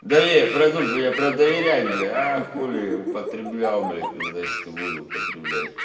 да ве продукт бы я про доверять бля а хули ли употреблял блять и значит буду употреблять